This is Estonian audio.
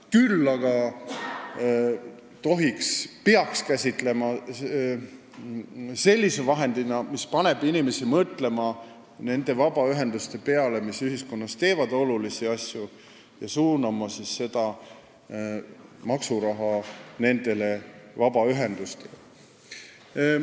Küll aga peaks seda käsitlema sellise vahendina, mis paneb inimesi mõtlema vabaühenduste peale, kes teevad ühiskonnas olulisi asju, ja suunama maksuraha nendele vabaühendustele.